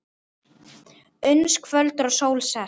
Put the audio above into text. Uns kvöldar og sól sest.